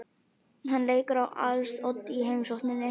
Hann leikur á als oddi í heimsókninni.